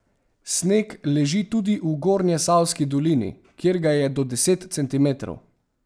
Sneg leži tudi v Gornjesavski dolini, kjer ga je do deset centimetrov.